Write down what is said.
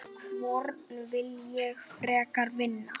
Hvorn vil ég frekar vinna?